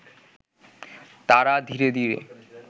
তারা ধীরে ধীরে